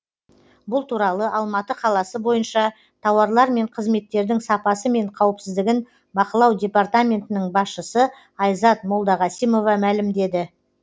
бұл туралы алматы қаласы бойынша тауарлар мен қызметтердің сапасы мен қауіпсіздігін бақылау департаментінің басшысы айзат молдағасимова мәлімдеді